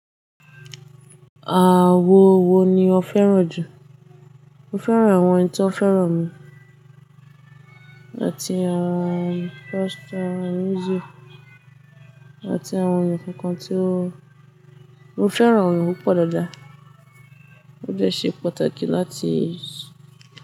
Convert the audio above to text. Àwon wo ni ó fẹ́ràn jù? Mo fẹ́ràn àwọn ẹni tí wọ́n fẹ́ràn mi àti àwọn foster music àti àwọn ǹkan kan tí mo fẹ́ràn àwọn ǹkan púpọ̀ dáadáa. Ó dẹ́ ṣe pàtàkì láti.